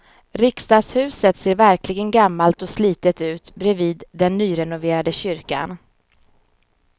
Riksdagshuset ser verkligen gammalt och slitet ut bredvid den nyrenoverade kyrkan.